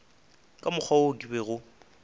ka mokgwa wo ke bego